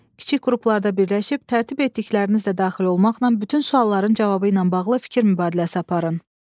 Kiçik qruplarda birləşib tərtib etdiklərinizlə daxil olmaqla bütün sualların cavabı ilə bağlı fikir mübadiləsi aparın.